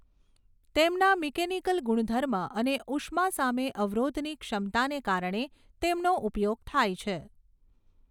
તેમના મિકેનિકલ ગુણધર્મ અને ઊષ્મા સામે અવરોધની ક્ષમતાને કારણે તેમનો ઉપયોગ થાય છે.